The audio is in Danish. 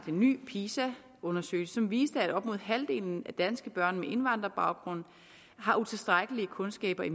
ny pisa undersøgelse som viste at op mod halvdelen af danske børn med indvandrerbaggrund har utilstrækkelige kundskaber i